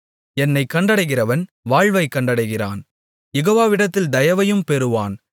என்னைக் கண்டடைகிறவன் வாழ்வைக் கண்டடைகிறான் யெகோவாவிடத்தில் தயவையும் பெறுவான்